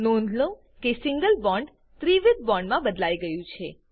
નોંધ લો કે સિંગલ બોન્ડ ત્રિવિધ બોન્ડ મા બદલાઈ ગયું છે